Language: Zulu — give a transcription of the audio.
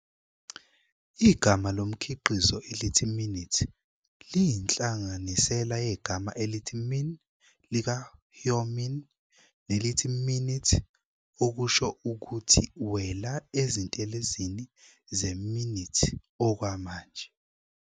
Igama lomkhiqizo elithi "MINITT" liyinhlanganisela yegama elithi "MIN" lika-Hyomin nelithi "MINUTE", okusho ukuthi "wela ezintelezini ze-MINITT okwamanje".